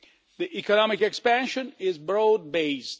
The economic expansion is broad based.